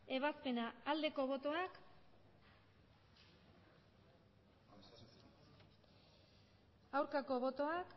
ebazpena aldeko botoak aurkako botoak